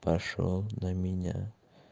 пошёл на меня